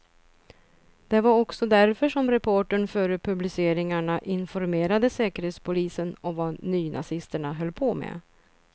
Det var också därför som reportern före publiceringarna informerade säkerhetspolisen om vad nynazisterna höll på med.